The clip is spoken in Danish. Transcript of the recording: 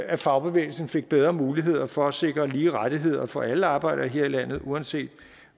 at fagbevægelsen fik bedre muligheder for at sikre lige rettigheder for alle arbejdere her i landet uanset